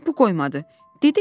Bax, bu qoymadı.